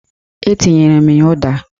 Etinyere m ya ụda